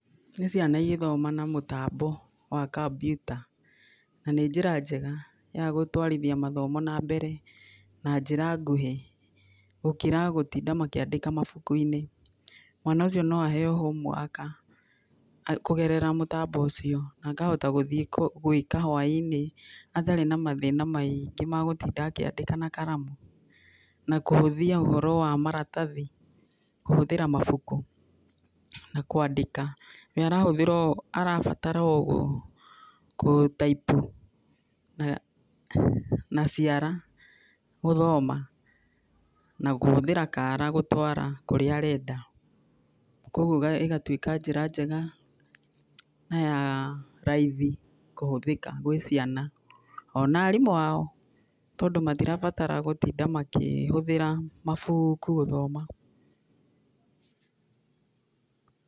Nĩ ciana igĩthoma na mũtambo wa kambyuta na nĩ njira njega ya gũtwarithia mathomo na mbere, na njĩra nguhĩ gũkĩra gũtinda makĩandĩka mabuku-inĩ. Mwana ũcio no aheyo homework kũgerera mũtambo ũcio akahota gũthiĩ gwĩka hwainĩ atarĩ na mathĩna maingi, ma gũtinda akĩandĩka na karamu na kũhũthia ũhoro wa maratathi kũhũthĩra mabuku na kwandĩka. Wee arabatara o gũtaipu na ciara gũthoma na kũhũthĩra kara gũtwara kũrĩa arenda, koguo ĩgatuĩka njĩra njega na ya raithi kũhũthĩka gwĩ ciana ona arimũ ao tondũ matirabatara gũtinda makĩhũthĩra mabuku gũthoma.